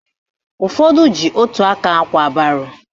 Ụfọdụ ji ótù aka ákwà baro